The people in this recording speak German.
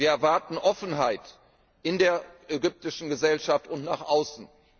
Wir erwarten Offenheit in der ägyptischen Gesellschaft und nach außen.